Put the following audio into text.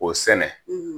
O sɛnɛ